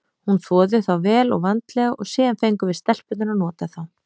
Hún þvoði þá vel og vandlega og síðan fengum við stelpurnar að nota þá.